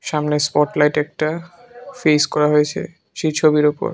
সামনের স্পটলাইট একটা ফেস করা হয়েছে সেই ছবির ওপর।